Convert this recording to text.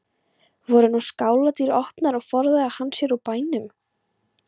Voru nú skáladyr opnar og forðaði hann sér úr bænum.